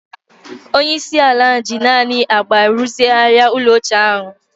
Onye isi ala ji naanị agba rụzigharịa ụlọ ochie ahụ